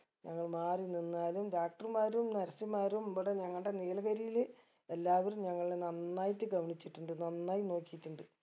ഞങ്ങള് മാറി നിന്നാലും doctor മാരും nurse മാരും ഇബിടെ ഞങ്ങടെ നീലഗിരിൽ എല്ലാവരും ഞങ്ങളെ നന്നായിട്ട് ഗൗനിച്ചിട്ടുണ്ട് നന്നായി നോക്കിയിട്ടുണ്ട്